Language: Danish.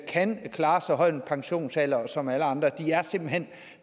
kan klare så høj en pensionsalder som alle andre